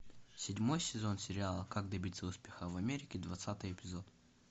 седьмой сезон сериала как добиться успеха в америке двадцатый эпизод